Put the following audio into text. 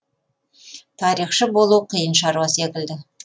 тарихшы болу қиын шаруа секілді